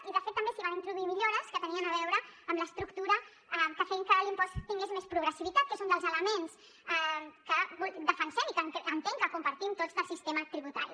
i de fet també s’hi van introduir millores que tenien a veure amb l’estructura que feien que l’impost tingués més progressivitat que és un dels elements que defensem i que entenc que compartim tots del sistema tributari